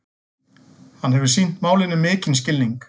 Hann hefur sýnt málinu mikinn skilning